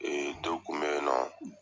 dɔ kun bɛ yen nɔ,